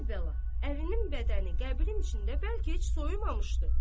əvvəla ərinin bədəni qəbrin içində bəlkə heç soyumamışdı.